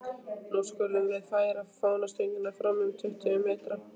Nú skulum við færa fánastöngina fram um tuttugu metra.